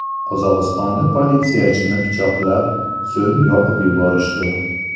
Qozog‘istonda politsiyachini pichoqlab, so‘ng yoqib yuborishdi.